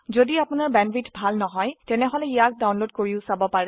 যদি আপোনাৰ বেণ্ডৱিডথ ভাল নহয় তেনেহলে ইয়াক ডাউনলোড কৰি চাব পাৰে